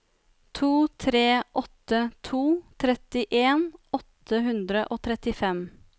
to tre åtte to trettien åtte hundre og trettifem